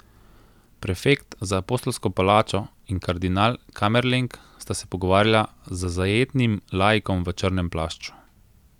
Prefekt za apostolsko palačo in kardinal kamerleng sta se pogovarjala z zajetnim laikom v črnem plašču.